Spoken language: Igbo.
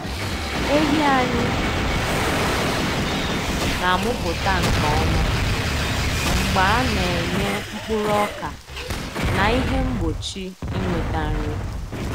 Ehi anyị na-amụpụta nke ọma mgbe a na-enye mkpuru ọka na ihe mgbochi ịnweta nri.